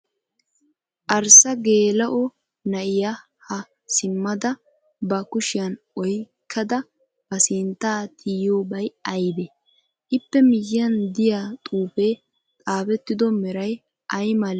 Arssa geela'o na'iya haa simmada ba kushiyan oyikkada ba sinttaa tiyiyoobay ayibee? iippe miyyiyan diya xuufee xaafettido meray ayi mal meree?